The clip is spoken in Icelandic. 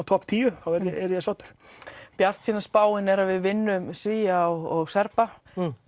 topp tíu þá yrði ég sáttur bjartsýna spáin er að við vinnum Svía og Serba